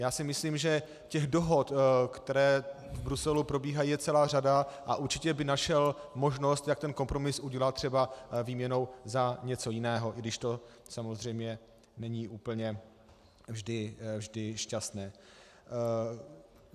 Já si myslím, že těch dohod, které v Bruselu probíhají, je celá řada, a určitě by našel možnost, jak ten kompromis udělat třeba výměnou za něco jiného, i když to samozřejmě není úplně vždy šťastné.